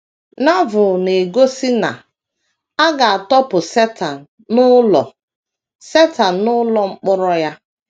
Novel na - egosi na “ a ga - atọpụ Setan n’ụlọ Setan n’ụlọ mkpọrọ ya. ”